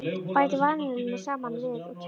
Bætið vanillunni saman við og kælið.